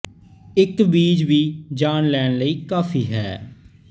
ਇੱਕ ਬੀਜ ਵੀ ਜਾਨ ਲੈਣ ਲਈ ਕਾਫ਼ੀ ਹੈ